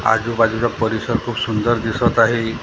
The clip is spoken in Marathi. आजूबाजूचा परिसर खूप सुंदर दिसतं आहे.